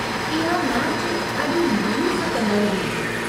इहा मैचि ॾाढी मायूस कंदड़ु हुई।